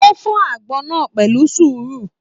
O fọ agbọn náà pẹ̀lú sùúrù.